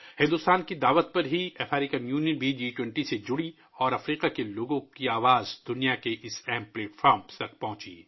بھارت کی دعوت پر افریقی یونین بھی جی 20 میں شامل ہوا اور افریقہ کے لوگوں کی آواز ، دنیا کے اس اہم پلیٹ فارم تک پہنچی